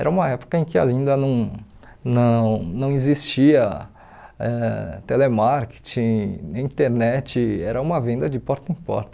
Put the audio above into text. Era uma época em que ainda não não não existia eh telemarketing, internet, era uma venda de porta em porta.